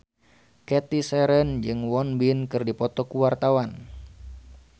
Cathy Sharon jeung Won Bin keur dipoto ku wartawan